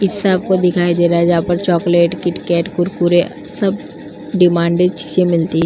इस शॉप को दिखाया दे रहा है| जहाँ पर चॉकलेट किटकैट कुरकुरे सब डिमांडेड चीजें मिलती --